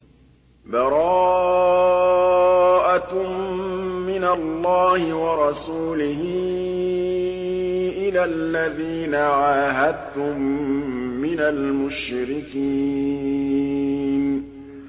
بَرَاءَةٌ مِّنَ اللَّهِ وَرَسُولِهِ إِلَى الَّذِينَ عَاهَدتُّم مِّنَ الْمُشْرِكِينَ